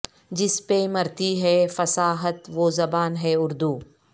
جس پہ مرتی ہے فصاحت وہ زباں ہے اردو